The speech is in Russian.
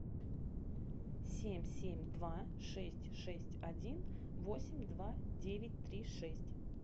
семь семь два шесть шесть один восемь два девять три шесть